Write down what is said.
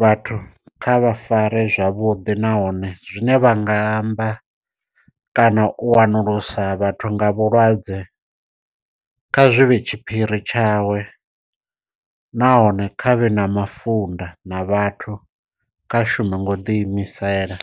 vhathu kha vha fare zwavhuḓi nahone zwine vha nga amba kana u wanulusa vhathu nga vhulwadze kha zwivhe tshiphiri tshawe. Nahone kha vhe na mafunda na vhathu kha shume ngo ḓi imisela.